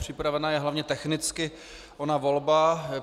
Připravena je hlavně technicky ona volba.